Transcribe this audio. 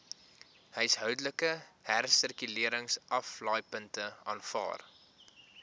huishoudelike hersirkuleringsaflaaipunte aanvaar